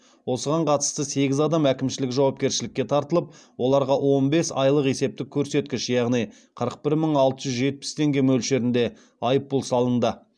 осыған қатысты сегіз адам әкімшілік жауапкершілікке тартылып оларға он бес айлық есептік көрсеткіш яғни қырық бір мың алты жүз жетпіс теңге мөлшерінде айыппұл салынды